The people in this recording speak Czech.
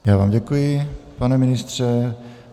Já vám děkuji, pane ministře.